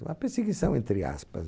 Uma perseguição, entre aspas.